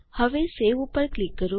હવે સવે ઉપર ક્લિક કરો